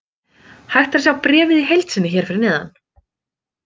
Hægt er að sjá bréfið í heild sinni hér fyrir neðan.